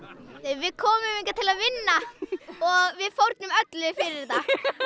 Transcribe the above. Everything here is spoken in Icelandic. við komum hingað til að vinna og við fórnum öllu fyrir þetta